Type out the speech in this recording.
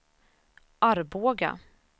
Arboga